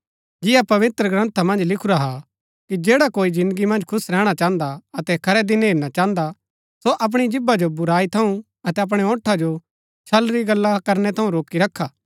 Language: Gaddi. जिन्या पवित्रग्रन्था मन्ज लिखुरा हा कि जैडा कोई जिन्दगी मन्ज खुश रैहणा चाहन्दा हा अतै खरै दिन हेरना चाहन्दा हा सो अपणी जीभा जो बुराई थऊँ अतै अपणै होंठा जो छल री गल्ला करनै थऊँ रोकी रखा